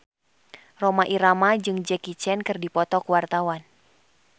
Rhoma Irama jeung Jackie Chan keur dipoto ku wartawan